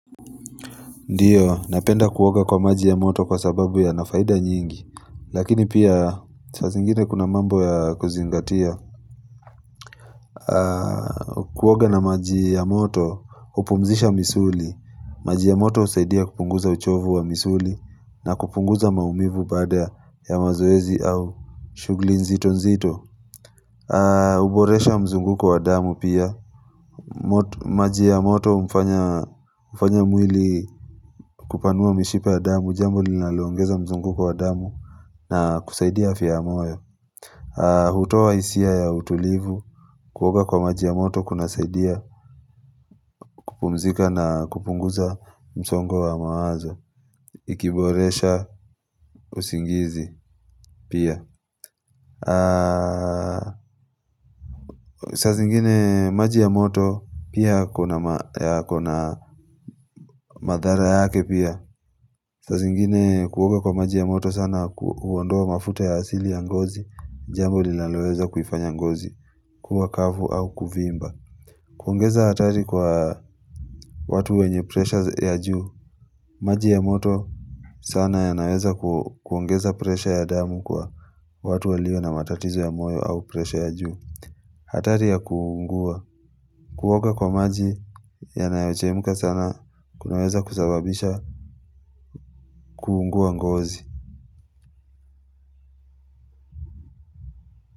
Ndiyo, napenda kuuoga kwa maji ya moto kwa sababu yana faida nyingi lakini pia, sas zingine kuna mambo ya kuzingatia Kuwoga na maji ya moto, hupumzisha misuli maji ya moto husaidia kupunguza uchovu wa misuli na kupunguza maumivu baada ya mazoezi au shugli nzito nzito Uboresha mzunguko wa damu pia maji ya moto hufanya mwili kupanua mishipa ya damu jambo linalongeza mzunguko wa damu na kusaidia afya ya moyo. Hutoa hisia ya utulivu, kuoga kwa maji ya moto kuna saidia kupumzika na kupunguza msongo wa mawazo. Ikiboresha usingizi pia. Saa zingine maji ya moto pia kuna yako na madhara yake pia. Saanzingine kuwoga kwa maji ya moto sana huondoa mafuta ya asili ya ngozi. Jambo linaloweza kuifanya ngozi kuwa kavu au kuvimba kuongeza hatari kwa watu wenye pressures ya juu maji ya moto sana yanaweza kuongeza pressure ya damu kwa watu walio na matatizo ya moyo au pressure ya juu hatari ya kuungua kuoga kwa maji ya nanayechemka sana kunaweza kusababisha kuungua ngozi.